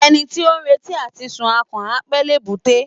Ẹni tí ó ń retí àti sun akàn, á pẹ́ l'èbúté.